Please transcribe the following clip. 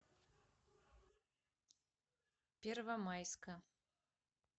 первомайска